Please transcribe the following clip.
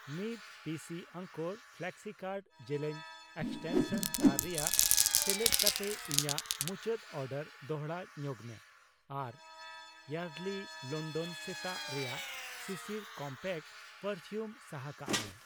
ᱢᱤᱛ ᱯᱤᱥᱤ ᱟᱝᱠᱳᱨ ᱯᱷᱞᱮᱠᱥᱤᱠᱟᱨᱰ ᱡᱮᱞᱮᱧ ᱮᱠᱥᱴᱮᱱᱥᱚᱱ ᱛᱟᱨ ᱨᱮᱭᱟᱜ ᱥᱮᱞᱮᱫ ᱠᱟᱛᱮᱫ ᱤᱧᱟᱜ ᱢᱩᱪᱟᱹᱰ ᱚᱰᱟᱨ ᱫᱚᱲᱦᱟ ᱧᱚᱜᱢᱮ ᱟᱨ ᱭᱟᱨᱰᱞᱤ ᱞᱚᱱᱰᱚᱱ ᱥᱮᱛᱟᱜ ᱨᱮᱱᱟᱜ ᱥᱤᱥᱤᱨ ᱠᱚᱢᱯᱮᱠᱴ ᱯᱟᱨᱯᱷᱤᱭᱩᱢ ᱥᱟᱦᱟ ᱠᱟᱜ ᱢᱮ ᱾